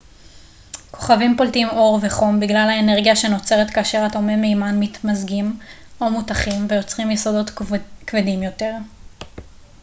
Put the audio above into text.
כוכבים פולטים אור וחום בגלל האנרגיה שנוצרת כאשר אטומי מימן מתמזגים או מותכים ויוצרים יסודות כבדים יותר